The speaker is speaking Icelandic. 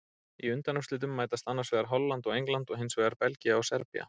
Í undanúrslitum mætast annars vegar Holland og England og hinsvegar Belgía og Serbía.